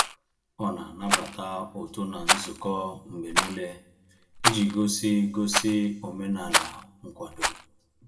Ọ na-anabata ụtụ na nzukọ mgbe n'ile, iji gosi gosi omenala nkwado